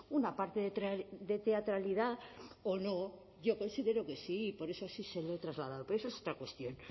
una parte de teatralidad o no yo considero que sí y por eso así se lo he trasladado pero esa es otra cuestión